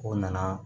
O nana